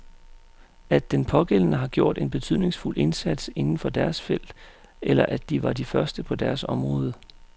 At den pågældende har gjort en betydningsfuld indsats inden for deres felt, eller at de var de første på deres område.